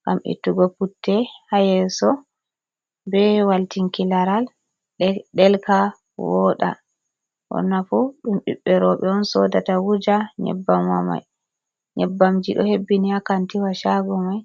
ngam ittugo putte ha yeso be waltinki laral delka woɗa onafu dum ɓibbe roɓe on sodata wuja nyebbamma mai nyebbamji ɗo hebbini ha kantiwa shago mai.